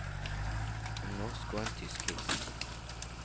En norsk og en tysk hilsen.